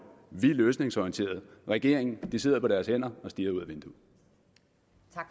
vi er løsningsorienterede regeringen sidder på deres hænder og stirrer ud